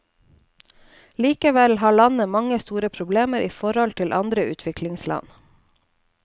Likevel har landet mange store problem i forhold til andre utviklingsland.